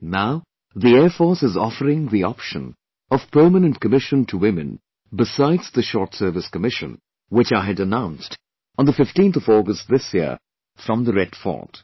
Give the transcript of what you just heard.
Now, the Air Force is offering the option of Permanent Commission to Women besides the Short Service Commission, which I had announced on the 15th of August this year from the Red Fort